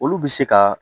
Olu bɛ se ka